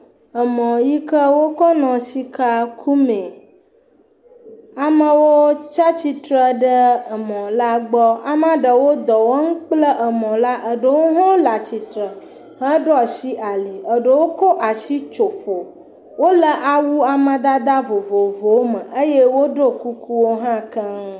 Mɔ yi ke wokɔ nɔ sika kum ee. Amewo tsia tsitre ɖe mɔ la gbɔ. Amea ɖewo dɔ wɔm kple mɔ la, ɖewo hã le atsitre heɖo asi ali, eɖowo kɔ asi tso ƒo, wole awu amadede vovovowo me eye woɖo kukuwo hã keŋ.